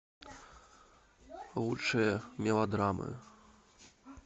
лучшие мелодрамы